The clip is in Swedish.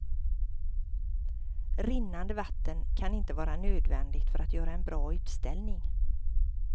Rinnande vatten kan inte vara nödvändigt för att göra en bra utställning.